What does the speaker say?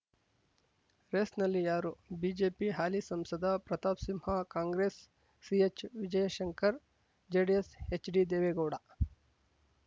ರೇಸ್‌ನಲ್ಲಿ ಯಾರು ಬಿಜೆಪಿ ಹಾಲಿ ಸಂಸದ ಪ್ರತಾಪ್‌ ಸಿಂಹ ಕಾಂಗ್ರೆಸ್‌ ಸಿಎಚ್‌ವಿಜಯಶಂಕರ್‌ ಜೆಡಿಎಸ್‌ ಎಚ್‌ಡಿದೇವೇಗೌಡ